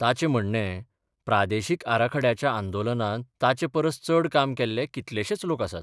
ताचें म्हणणेंः प्रादेशीक आराखड्याच्या आंदोलनांत ताचे परस चड काम केल्ले कितलेशेच लोक आसात.